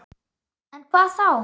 En hvað þá?